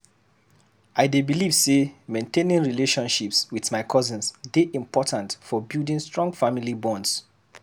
I dey believe say maintaining relationships with cousins dey important for building strong family bonds.